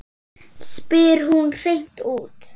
spyr hún hreint út.